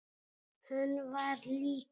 Hann var líka.